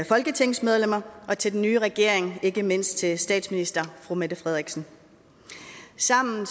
folketingsmedlemmer og til en ny regering ikke mindst til statsminister mette frederiksen sammen